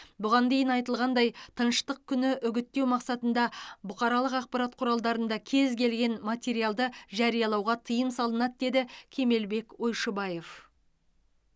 бұған дейін айтылғандай тыныштық күні үгіттеу мақсатында бұқаралық ақпарат құралдарында кез келген материалды жариялауға тыйым салынады деді кемелбек ойшыбаев